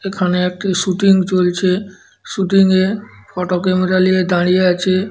এখানে একটি শুটিং চলছে শুটিংএ ফটো ক্যামেরা নিয়ে দাঁড়িয়ে আছে।